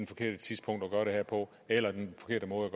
forkerte tidspunkt at gøre det her på eller den forkerte måde